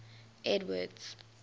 edward's